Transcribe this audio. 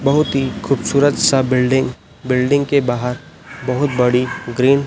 बहुत ही खूबसूरत सा बिल्डिंग बिल्डिंग के बाहर बहुत बड़ी ग्रीन --